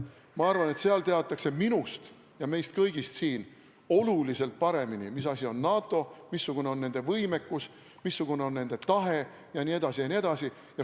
Ma arvan, et seal teatakse minust ja meist kõigist siin oluliselt paremini, mis asi on NATO, missugune on nende võimekus, missugune on nende tahe, jne, jne.